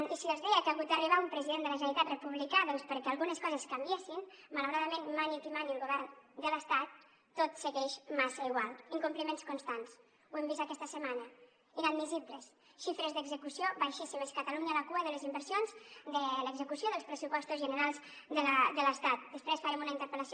i si els deia que ha hagut d’arribar un president de la generalitat republicà doncs perquè algunes coses canviessin malauradament mani qui mani al govern de l’estat tot segueix massa igual incompliments constants ho hem vist aquesta setmana inadmissibles xifres d’execució baixíssimes catalunya a la cua de les inversions de l’execució dels pressupostos generals de l’estat després farem una interpel·lació